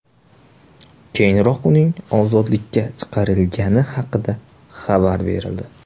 Keyinroq uning ozodlikka chiqarilgani haqida xabar berildi .